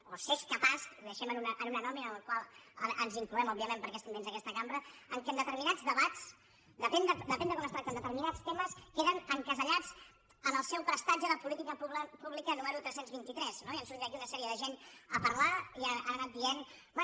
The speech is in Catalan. o s’és capaç ho deixem en un anònim en el qual ens incloem òbviament perquè estem dins d’aquesta cambra que en determinats debats depèn de com es tracten determinats temes queden encasellats en el seu prestatge de política pública número tres cents i vint tres no i han sortit aquí una sèrie de gent a parlar i han anat dient bé